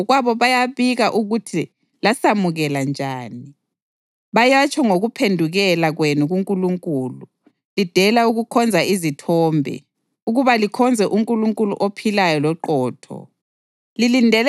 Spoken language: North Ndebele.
ngoba bona ngokwabo bayabika ukuthi lasamukela njani. Bayatsho ngokuphendukela kwenu kuNkulunkulu lidela ukukhonza izithombe ukuba likhonze uNkulunkulu ophilayo loqotho